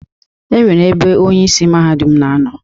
E nwere ebe onye isi Mahadum na ano.